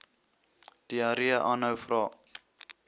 diarree aanhou vra